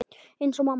Eins og mamma.